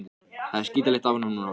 Það er skítalykt af honum núna.